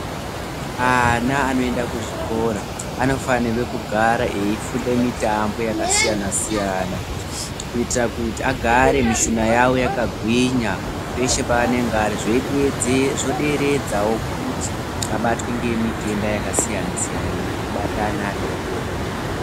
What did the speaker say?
Ana anoenda kuzvikora anofanirwe kugara eifunde mitambo yakasiyana-siyana. Kuitira kuti agare mishuna yavo yakagwinya peshe paanenga ari. Zvoderedzawo kuti abatwe ngemitenda yakasiyana-siyana inobata ana adoodori.